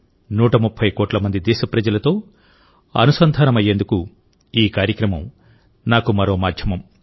130 కోట్ల మంది దేశప్రజలతో అనుసంధానమయ్యేందుకు ఈ కార్యక్రమం నాకు మరో మాధ్యమం